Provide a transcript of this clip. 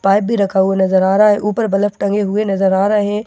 pipe भी रखा हुआ नजर आ रहा हैं ऊपर बल्ब टंगे हुए नजर आ रहे हैं दिन का वक़्त --